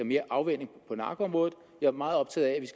mere afvænning på narkoområdet jeg er meget optaget af